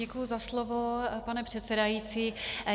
Děkuji za slovo, pane předsedající.